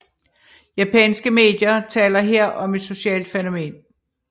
Japanske medier taler her om et socialt fænomen